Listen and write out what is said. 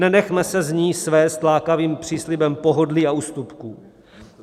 Nenechme se z ní svést lákavým příslibem pohodlí a ústupků.